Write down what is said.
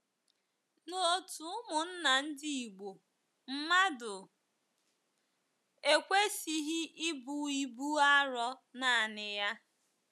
N’òtù ụmụnna ndi Igbo, mmadụ ekwesịghị ibu ibu arọ nanị ya.